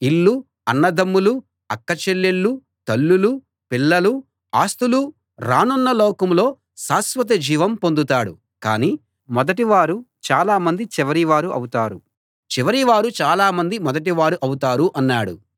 కాని మొదటివారు చాలా మంది చివరివారు అవుతారు చివరివారు చాలా మంది మొదటివారు అవుతారు అన్నాడు